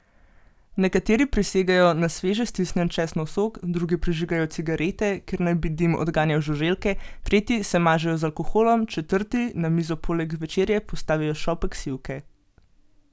Nekateri prisegajo na sveže stisnjen česnov sok, drugi prižigajo cigarete, ker naj bi dim odganjal žuželke, tretji se mažejo z alkoholom, četrti na mizo poleg večerje postavijo šopek sivke ...